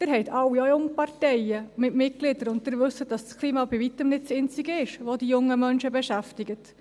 Sie alle haben auch Jungparteien mit Mitgliedern, und Sie wissen, dass das Klima bei Weitem nicht das Einzige ist, das die jungen Menschen beschäftigt.